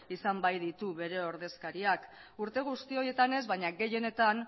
izan baititu bere ordezkariak urte guzti horietan ez baina gehienetan